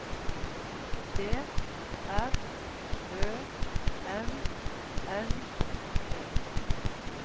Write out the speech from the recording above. D R Ø M M E